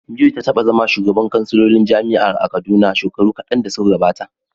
Joy ta taba zama shugabar kansilolin jami’ar a Kaduna shekaru kadan da suka gabata.